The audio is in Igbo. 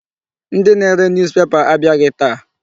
Ndị na-ere newspaper abịaghị taa.